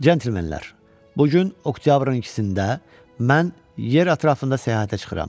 Centlemenlər, bu gün oktyabrın ikisində mən yer ətrafında səyahətə çıxıram.